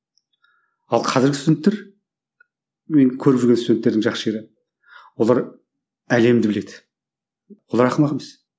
ал қазіргі студенттер мен көріп жүрген студенттердің жақсы жері олар әлемді біледі олар ақымақ емес